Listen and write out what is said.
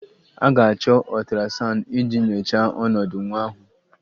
A ga-achọ ultrasound iji nyochaa ọnọdụ nwa ahụ